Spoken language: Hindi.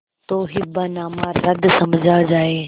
तो हिब्बानामा रद्द समझा जाय